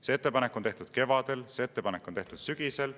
See ettepanek tehti kevadel, see ettepanek tehti sügisel.